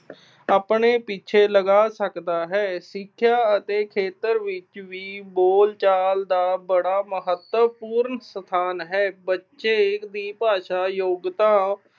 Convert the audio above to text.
ਆਪਣੇ ਪਿੱਛੇ ਲਗਾ ਸਕਦਾ ਹੈ। ਸਿੱਖਿਆ ਦੇ ਖੇਤਰ ਵਿੱਚ ਵੀ ਬੋਲਚਾਲ ਦਾ ਬੜੀ ਮਹੱਤਵਪੂਰਨ ਸਥਾਨ ਹੈ। ਦੀ ਭਾਸ਼ਾ, ਯੋਗਤਾ